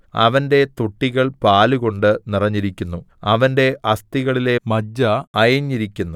അവന്റെ തൊട്ടികൾ പാലുകൊണ്ട് നിറഞ്ഞിരിക്കുന്നു അവന്റെ അസ്ഥികളിലെ മജ്ജ അയഞ്ഞിരിക്കുന്നു